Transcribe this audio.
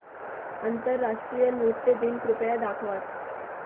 आंतरराष्ट्रीय नृत्य दिन कृपया दाखवच